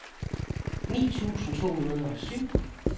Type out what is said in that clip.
ni tusind to hundrede og syv